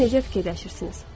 Siz necə düşünürsünüz?